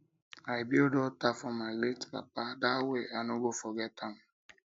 i build alter for my late papa dat way i no go forget am